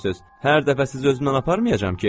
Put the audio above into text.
Hər dəfə sizi özümlə aparmayacam ki?